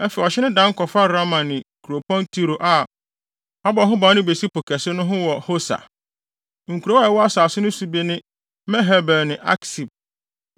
Afei ɔhye no dan kɔfa Rama ne Kuropɔn Tiro a wɔabɔ ho ban no besi Po Kɛse no ho wɔ Hosa. Nkurow a ɛwɔ asase no so bi ne Mehebel ne Aksib,